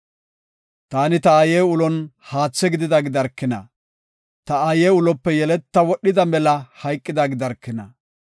“Taani ta aaye ulon haatha gidida gidarkina! Ta aaye ulope yeleta wodhida mela hayqida gidarkina!